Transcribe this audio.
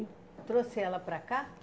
Trouxe ela para cá?